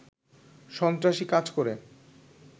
সন্ত্রাসী কাজ করে